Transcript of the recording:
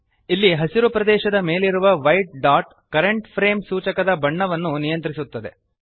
ಇಲ್ಲಿ ಹಸಿರು ಪ್ರದೇಶದ ಮೇಲಿರುವ ವೈಟ್ ಡಾಟ್ ಕರೆಂಟ್ ಫ್ರೇಮ್ ಸೂಚಕದ ಬಣ್ಣವನ್ನು ನಿಯಂತ್ರಿಸುತ್ತದೆ